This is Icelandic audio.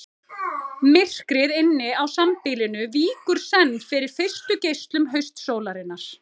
Myrkrið inni á sambýlinu víkur senn fyrir fyrstu geislum haustsólarinnar.